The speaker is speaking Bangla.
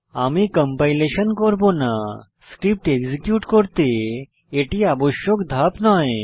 আমি কম্পাইলেশন করব না স্ক্রিপ্ট এক্সিকিউট করতে এটি আবশ্যক ধাপ নয়